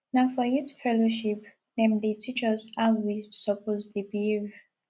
na for youth fellowship dem dey teach us how we suppose dey behave